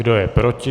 Kdo je proti?